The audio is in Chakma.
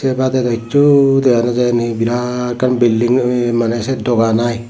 sebade do hichu dega no jai ni biraat ekkan building mane seyan dogan ai.